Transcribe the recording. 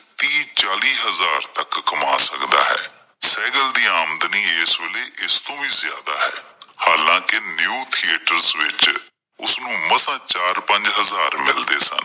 ਤੀਂਹ, ਚਾਲੀ ਹਜ਼ਾਰ ਤੱਕ ਕਮਾ ਸਕਦਾ ਹੈ, ਸਹਿਗਲ ਦੀ ਅਮਦਨੀ ਅੱਜਕੱਲ ਏਸ ਵੇਲੇ ਇਸ ਤੋਂ ਵੀ ਜ਼ਿਆਦਾ ਹੈ। ਹਾਲਾਂ ਕਿ new theaters ਵਿੱਚ ਉਸ ਨੂੰ ਮਸਾਂ ਚਾਰ ਪੰਜ ਹਜ਼ਾਰ ਮਿਲਦੇ ਹਨ।